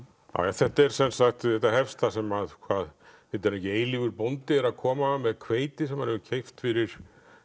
þetta hefst þar sem hvað heitir hann ekki eilífur bóndi er að koma með hveiti sem hann hefur keypt fyrir